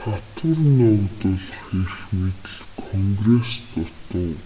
татвар ногдуулах эрх мэдэл конгресст дутав